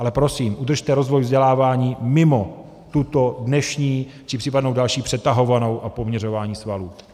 Ale prosím, udržte rozvoj vzdělávání mimo tuto dnešní či případnou další přetahovanou a poměřování svalů.